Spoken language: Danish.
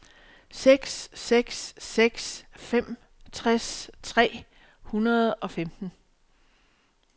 seks seks seks fem tres tre hundrede og femten